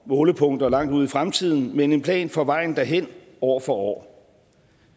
målepunkter langt ude i fremtiden men en plan for vejen derhen år for år